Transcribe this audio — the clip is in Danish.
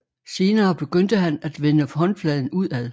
Senere begyndte han at vende håndfladen udad